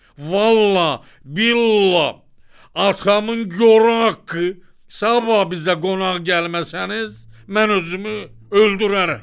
Vallahi, billahi, atamın gor haqqı, sabah bizə qonaq gəlməsəniz, mən özümü öldürərəm.